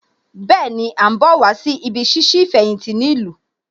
Bẹ́ẹ̀ni, À ń bọ̀ wá sí ibí ṣíṣí ìfẹ̀yìntì ní ìlú